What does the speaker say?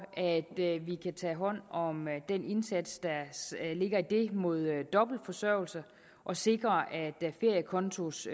at vi kan tage hånd om den indsats der ligger i det mod dobbeltforsørgelse og sikre at feriekontos